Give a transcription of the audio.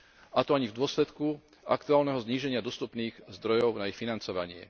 a to ani v dôsledku aktuálneho zníženia dostupných zdrojov na ich financovanie.